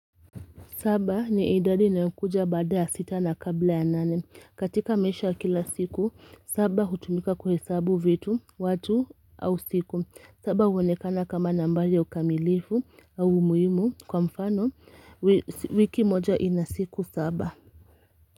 Saba ni idadi inayokuja bada ya sita na kabla ya nane. Katika maisha kila siku, saba hutumika kuhesabu vitu, watu au siku. Saba huonekana kama nambari ya ukamilifu au umuhimu kwa mfano wiki moja ina siku saba.